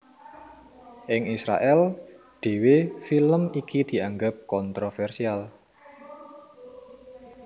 Ing Israèl dhéwé film iki dianggep kontrovèrsial